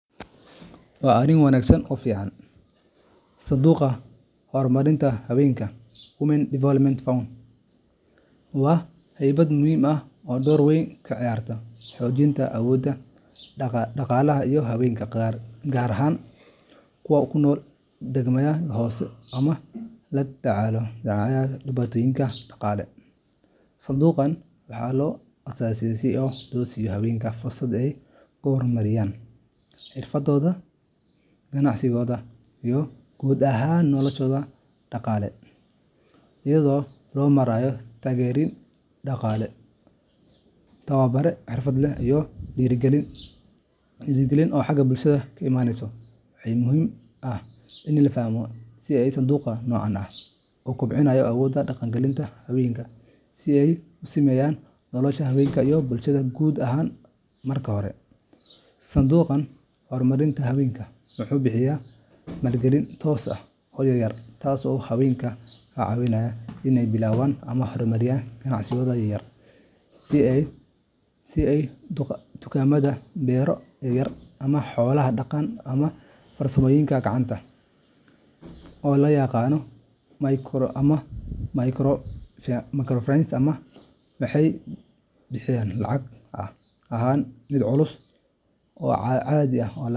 Haa arin wanagsan oo fican ,Sanduuqa Horumarinta Hawenka Women's Development Fund waa hay’ad muhiim ah oo door weyn ka ciyaarta xoojinta awoodda dhaqaalaha ee haweenka, gaar ahaan kuwa ku nool deegaanada hooseeya ama la daalaa dhacaya dhibaatooyin dhaqaale. Sanduuqan waxaa loo aasaasaa si loo siiyo haweenka fursad ay ku horumariyaan xirfadooda, ganacsigooda, iyo guud ahaan noloshooda dhaqaale, iyadoo loo marayo taageerooyin dhaqaale, tababarro xirfadeed, iyo dhiirrigelin bulsho. Waxaa muhiim ah in la fahmo sida sanduuqa noocan ah u kobciyo awooda dhaqaalaha ee haweenka iyo sida ay u saameyso nolosha haweenka iyo bulshada guud ahaan. Marka hore, sanduuqa horumarinta hawenka wuxuu bixiya maalgelin toos ah oo yaryar, taas oo haweenka ka caawisa inay bilaabaan ama horumariyaan ganacsiyada yaryar sida dukaamada, beero yaryar, xoolo dhaqan, ama farsamooyinka gacanta, Maalgelintan oo loo yaqaan microcredit or microfinance waxay bixisaa lacag aan ahayn mid culus oo aan caadi ah.